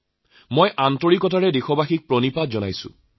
মই অন্তৰৰ পৰা দেশবাসীক প্ৰণাম জনাইছোঁ